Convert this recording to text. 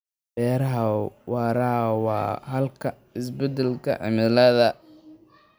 Beeraha waara waa xalka isbedelka cimilada.